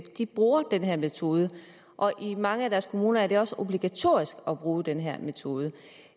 de bruger den her metode og i mange af deres kommuner er det også obligatorisk at bruge den her metode